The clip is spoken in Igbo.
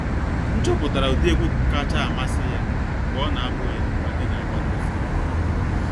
M chọpụtara ụdị egwu kacha amasị ya mgbe ọ na-abu ya mgbe anyị na aga n'ụzọ.